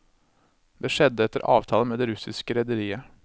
Det skjedde etter avtale med det russiske rederiet.